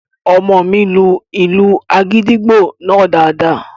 Ọmọ mi lu ìlù àgìdìgbò náà daadaa